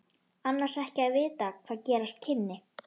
Annars ekki að vita hvað gerast kynni.